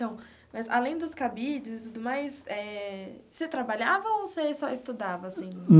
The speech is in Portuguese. Então, mas além dos cabides e tudo mais eh, você trabalhava ou você só estudava, assim?